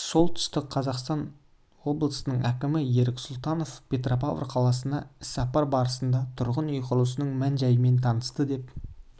солтүстік қазақстан облысының әкімі ерік сұлтанов петропавл қаласына іссапары барысында тұрғын үй құрылысының мән-жайымен танысты деп